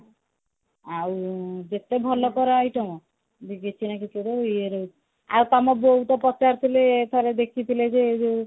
ଆଉ ଯେତେ ଭଲ କଣ item କିଛି ନା କିଛି ଗୋଟେ ଏଇ ରହୁଛି ଆଉ ତମ ବୋଉ ତ ପଚାରୁ ଥିଲେ ତହରେ ଦେଖିଥିଲେ ସେ ଯୋଉ